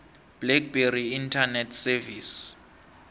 blackberry internet service